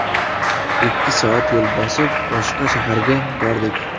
Ikki soat yo‘l bosib, boshqa shaharga bordik.